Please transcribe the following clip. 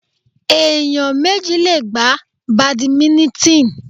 Ẹ̀yàn méjì le gbá Bàdìmínítìn.